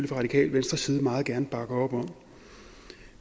fra radikale venstres side meget gerne bakke op om